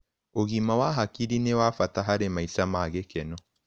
Ũgima wa hakĩrĩ nĩ wa bata harĩ maĩsha mah gĩkeno